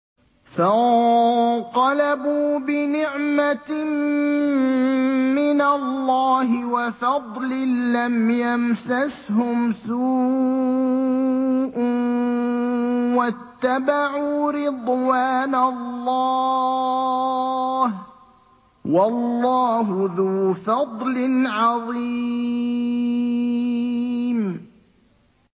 فَانقَلَبُوا بِنِعْمَةٍ مِّنَ اللَّهِ وَفَضْلٍ لَّمْ يَمْسَسْهُمْ سُوءٌ وَاتَّبَعُوا رِضْوَانَ اللَّهِ ۗ وَاللَّهُ ذُو فَضْلٍ عَظِيمٍ